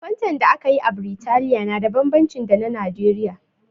Fantan da aka yi a Biritaliya na da bambanci da ta Nijeriya.